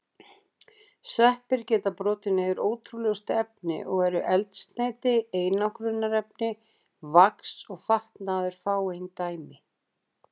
Sveppir geta brotið niður ótrúlegustu efni og eru eldsneyti, einangrunarefni, vax og fatnaður fáein dæmi.